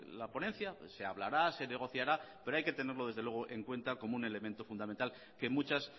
la ponencia se hablará se negociará pero hay que tenerlo desde luego en cuenta como un elemento fundamental que muchas